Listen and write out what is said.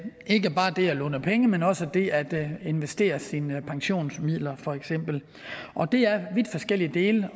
ikke bare det at låne penge men også det at investere sine pensionsmidler for eksempel og det er vidt forskellige dele